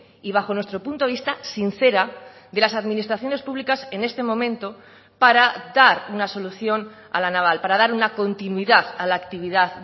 y bajo nuestro punto de vista sincera de las administraciones públicas en este momento para dar una solución a la naval para dar una continuidad a la actividad